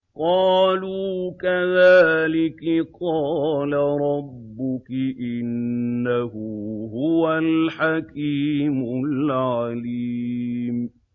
قَالُوا كَذَٰلِكِ قَالَ رَبُّكِ ۖ إِنَّهُ هُوَ الْحَكِيمُ الْعَلِيمُ